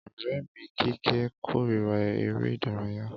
Ọrẹ mi kíkẹ̀ kórira èrè idaraya.